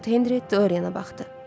Lord Henri Dorian'a baxdı.